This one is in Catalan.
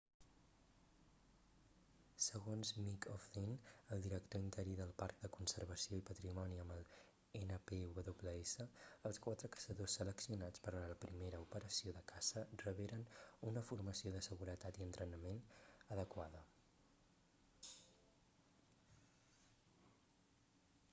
segons mick o'flynn el director interí del parc de conservació i patrimoni amb el npws els quatre caçadors seleccionats per a la primera operació de caça reberen una formació de seguretat i entrenament adequada